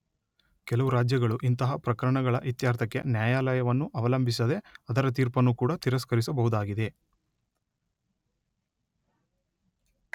ಕೆಲವು ರಾಜ್ಯಗಳು ಇಂತಹ ಪ್ರಕರಣಗಳ ಇತ್ಯರ್ಥಕ್ಕೆ ನ್ಯಾಯಾಲಯವನ್ನು ಅವಲಂಬಿಸದೇ ಅದರ ತೀರ್ಪನ್ನೂ ಕೂಡ ತಿರಸ್ಕರಿಸಬಹುದಾಗಿದೆ.